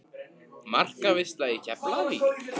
Markaveisla í Keflavík?